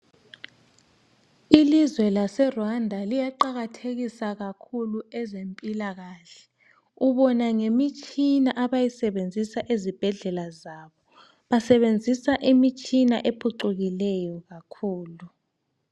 Ilizwe laseRwanda liyaqakathekisa ezempilakahle ubona ngemitshina abayisebenzisa ezibhedlela zabo. Basebenzisa imitshina ephucukileyo kakhulu.